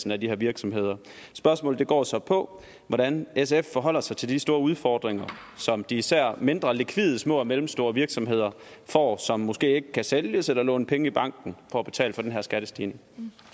af de her virksomheder spørgsmålet går så på hvordan sf forholder sig til de store udfordringer som især mindre likvide små og mellemstore virksomheder får som måske ikke kan sælges eller låne penge i banken for at betale for den her skattestigning